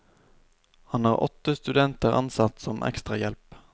Han har åtte studenter ansatt som ekstrahjelp.